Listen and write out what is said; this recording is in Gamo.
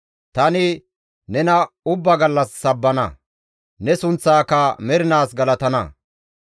Tani nena ubba gallas sabbana; ne sunththaaka mernaas galatana.